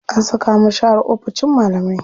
An saka mu share oficin malamai.